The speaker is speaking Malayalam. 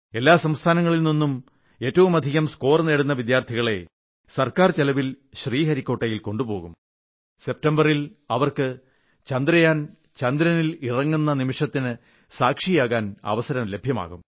എല്ലാ സംസ്ഥാനങ്ങളിൽ നിന്നും ഏറ്റവുമധികം സ്കോർ നേടുന്ന വിദ്യാർഥികളെ ഗവൺമെന്റ് ചിലവിൽ ശ്രീഹരിക്കോട്ടയിൽ കൊണ്ടുപോകും സെപ്റ്റംബറിൽ അവർക്ക് ചന്ദ്രയാൻ ചന്ദ്രനിൽ ഇറങ്ങുന്ന നിമിഷത്തിന് സാക്ഷിയാകാൻ അവസരം ലഭ്യമാക്കും